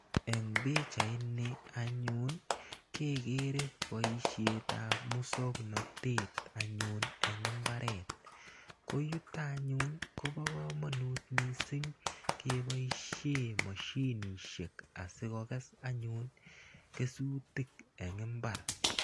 Eng' pichaini anyun kekere poishet ap muswoknotet anyun eng' mbaret. Ko yuto anyun ko pa kamanut missing' kepoishe mosinisiek asikokes anyun kesutik che chang' eng' mbar.